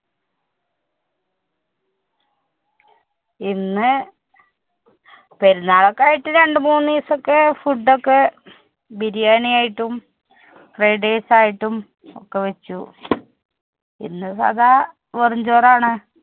ഇന്ന് പെരുനാളൊക്കെ ആയിട്ട് രണ്ടുമൂന്ന് ദീസൊക്കെ food ഒക്കെ ബിരിയാണി ആയിട്ടും, fried rice ആയിട്ടും ഒക്കെ വെച്ചു. ഇന്ന് സാദാ വെറും ചോറാണ്.